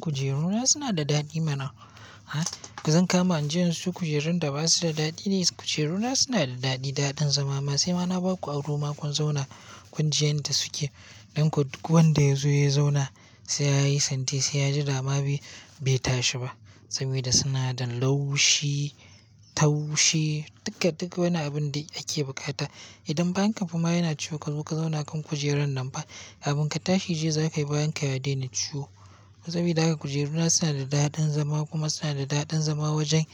Kujeru na suna da daɗi mana. Zan kama inje insiyo kujerun da ba su da daɗi ne. Kujeru na suna da daɗin zama, sai ma na ba ku aro ma kun zauna kun ji yanda suke. Don kuwa duk wanda ya zo ya zauna, sai ya yi santi sai ya ji dama bai tashi ba. Saboda suna da laushi, taushi, duka wani abin da ake bukata. Idan bayan ka fama yana ciwo ka zo ka zauna kan kujerar nan fa, abin ka tashi ji za ka yi bayan ka ya daina ciwo. Saboda haka kujeru na suna da daɗin zama kuma suna da daɗin zama wajen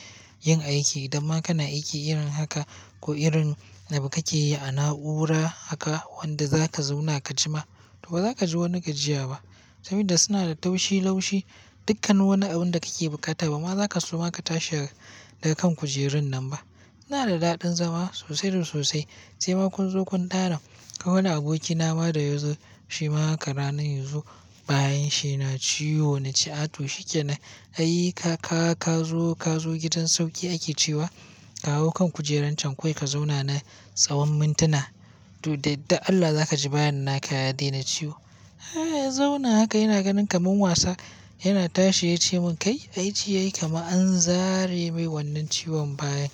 yin aiki. Idan ma kana aiki irin haka ko irin abu kake yi a na'ura haka wanda za ka zauna ka ji ma, to ba za ka ji wani gajiya ba. Saboda suna da taushi, laushi, dukkan wani abin da kake bukata. Bama za ka so ma ka tashi daga kan kujerun nan ba. Suna da daɗin zama sosai da sosai sai ma kun zo kun tara. Akwai wani aboki na ma da yazo shi ma haka ranar yanzu bayanshi yana ciwo na ce ato shikenan. Ai ka zo gidan sauƙi ake cewa ka hau kan kujerar can kawai ka zauna na tsawon mintuna. To da yardar Allah za ka ji bayan naka ya daina ciwo. Zauna haka yana ganin kamar wasa yana tashi ya ce mun "Kai aijiya yi kamar an zare mai wannan ciwon bayan".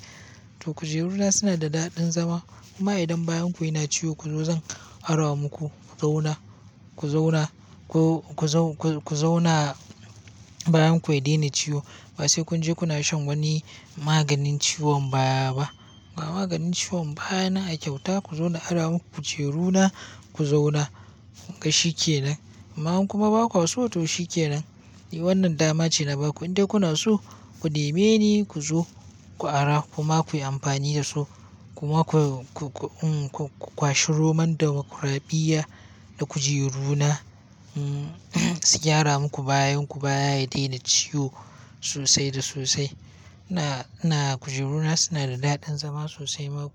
To kujeru na suna da daɗin zama kuma idan bayan ku yana ciwo ku zo zan ara maku ku zauna bayan ku ya daina ciwo. Ba sai kun je kuna shan wani maganin ciwon baya ba. Ba maganin ciwon baya na a kyauta ku zo na ara maku kujeru na ku zauna shikenan. Amma kuma ba kwa so to shikenan. Wannan dama ce na ba ku. Inda kuna so ku neme ni ku zo ku ara kuma ku yi amfani da su. Kuma ku kwashi Roman Damokuradiyya da kujeru na su gyara muku bayin ku baya ya daina ciwo sosai da sosai. Kujeru na suna da daɗin zama sosai ma ku.